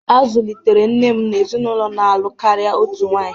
A zụlitere nne m n’ezinụlọ na-alụ karịa otu nwaanyị.